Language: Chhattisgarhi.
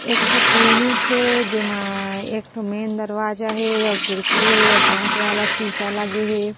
एक ठोक क्लिनिक हे जेमा एक ठोह मेन दरवाजा हे अउ खिड़की हे कांच वाला शीशा लगे हे।